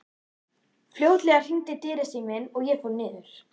Fljótlega hringdi dyrasíminn og ég fór niður.